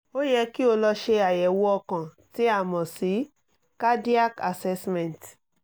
ó yẹ kí o lọ ṣe àyẹ̀wò ọkàn tí a mọ̀ sí cardiac assessment